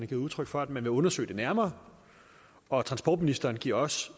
givet udtryk for at man vil undersøge det nærmere og transportministeren giver også